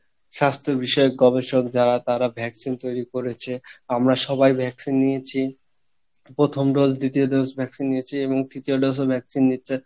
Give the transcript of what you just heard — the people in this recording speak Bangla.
স্বাস্থ্য বিষয়ক গবেষক যারা তারা vaccine তৈরী করেছে আমরা সবাই vaccine নিয়েছি, প্রথম dose দ্বিতীয় dose vaccine নিয়েছি এবং তৃতীয় dose ও vaccine দিচ্ছে,